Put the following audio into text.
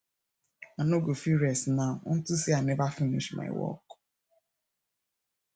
i no go fit rest now unto say i never finish my work